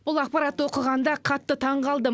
бұл ақпаратты оқығанда қатты таңғалдым